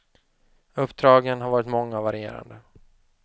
Uppdragen har varit många och varierande.